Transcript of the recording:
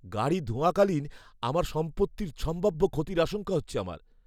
গাড়ি ধোয়াকালীন আমার সম্পত্তির সম্ভাব্য ক্ষতির আশঙ্কা হচ্ছে আমার।